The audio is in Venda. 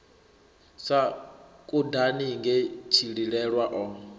sa kudani nge tshililelwa o